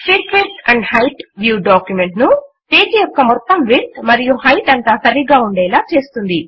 fit width and height view document ను page యొక్క మొత్తం విడ్త్ మరియు హైట్ అంతా సరిపోయేలా ఉండేలా చేస్తుంది